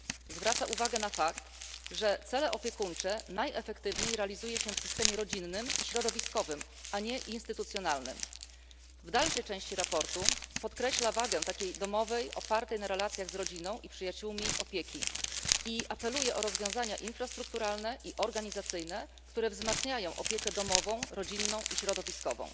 Zwraca uwagę na fakt, że cele opiekuńcze najefektywniej realizuje się w systemie rodzinnym i środowiskowym, a nie instytucjonalnym. W dalszej części sprawozdania podkreśla wagę takiej domowej, opartej na relacjach z rodziną i przyjaciółmi opieki i apeluje o rozwiązania infrastrukturalne i organizacyjne, które wzmacniają opiekę domową, rodzinną i środowiskową.